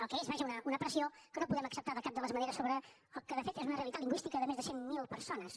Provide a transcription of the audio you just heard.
al que és vaja una pressió que no podem acceptar de cap de les maneres sobre el que de fet és una realitat lingüística de més de cent mil persones